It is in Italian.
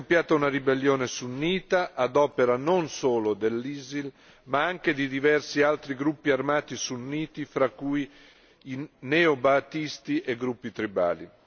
Iraq è scoppiata una ribellione sunnita ad opera non solo dell'ISIL, ma anche di diversi altri gruppi armati sunniti, fra cui neo ba'thisti e gruppi tribali.